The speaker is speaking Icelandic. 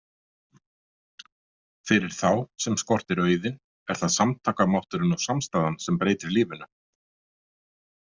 Fyrir þá sem skortir auðinn er það samtakamátturinn og samstaðan sem breytir lífinu.